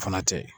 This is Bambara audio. O fana tɛ ye